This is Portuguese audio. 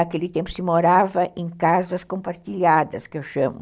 Aquele tempo se morava em casas compartilhadas, que eu chamo.